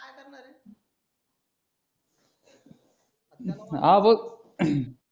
हा भाऊ